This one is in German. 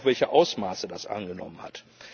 Dies zeigt auch, welche Ausmaße das angenommen hat.